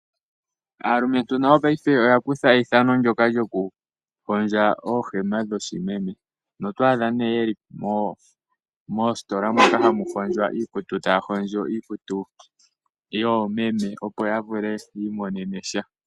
Aalumentu nayo paife oya kutha eithano ndyoka lyokuhondja oohema dhoshimeme noto adha ye li miihondjelo moka hamu hondjelwa iikutu taya hondjo iikutu yoomeme, opo ya vule yi imonene sha.